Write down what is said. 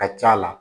Ka c'a la